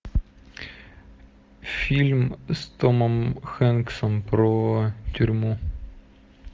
фильм с томом хэнксом про тюрьму